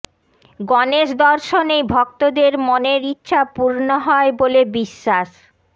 গণেশ দর্শনেই ভক্তদের মনের ইচ্ছা পূর্ণ হয় বলে বিশ্বাস